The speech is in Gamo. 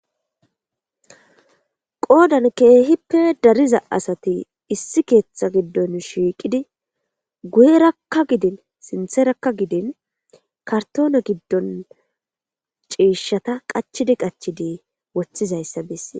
qoodan keehippe dariza asati issi keeththa giddon shiiqidi guyerakka gidin sintherakka gidin kartoona giddon ciishata qachidi qachidi woththizayssa besse